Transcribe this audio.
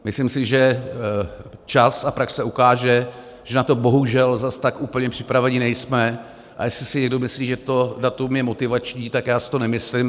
Myslím si, že čas a praxe ukáže, že na to bohužel zas tak úplně připraveni nejsme, a jestli si někdo myslí, že to datum je motivační, tak já si to nemyslím.